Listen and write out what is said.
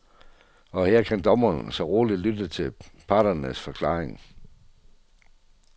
Og her kan dommeren så roligt lytte til parternes forklaring.